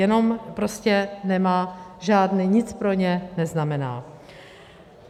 Jenom prostě nemá žádný, nic pro ně neznamená.